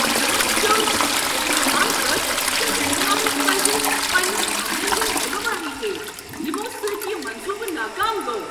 مےٚ وون سیوٚد ییٚلہ مےٚ منٛگ کٔر ز رہنماہس پزِ پنٛنٮ۪ن عملن ہٕنٛز ذمہ وٲری ہیٚنۍ ییٚمو سۭتۍ یہ منصوٗبہٕ ناکام گوٚو۔